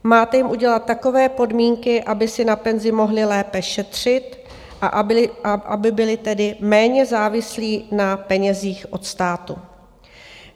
Máte jim udělat takové podmínky, aby si na penzi mohli lépe šetřit, a aby byli tedy méně závislí na penězích od státu.